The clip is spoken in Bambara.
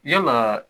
Yalaa